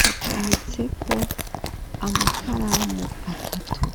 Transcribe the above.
hacometseko amakaramu atatu.